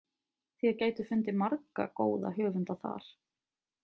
Þér gætuð fundið marga góða höfunda þar.